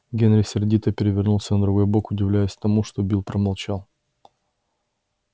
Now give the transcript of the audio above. генри сердито перевернулся на другой бок удивляясь тому что билл промолчал